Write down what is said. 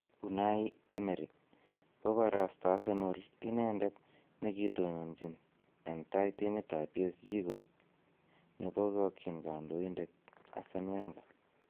Unai Emery: Koborosto Arsenal inendet ne kitononchin en tai timitab PSG koik ne bokokyin kandoinatet Arsen Wenger